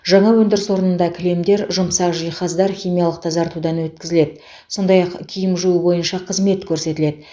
жаңа өндіріс орнында кілемдер жұмсақ жиһаздар химиялық тазартудан өткізіледі сондай ақ киім жуу бойынша қызмет көрсетіледі